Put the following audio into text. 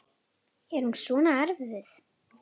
Er hún svona erfið?